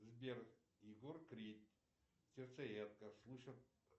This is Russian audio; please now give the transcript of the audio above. сбер егор крид сердцеедка слушать